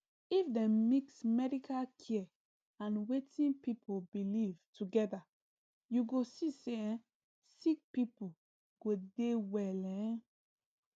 if dem mix medical care and wetin people believe together you go see say um sick people go dey well um